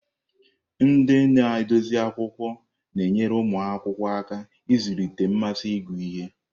Ndị na-edozi akwụkwọ na-enyere ụmụ akwụkwọ aka ịzụlite mmasị ịgụ ihe.